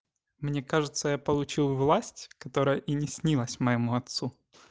мне кажется я получил власть которая и не снилась моему отцу